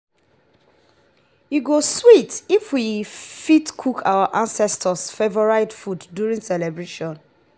e go sweet if we fit cook our ancestors’ favorite food during celebrations.